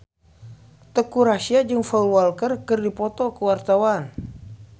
Teuku Rassya jeung Paul Walker keur dipoto ku wartawan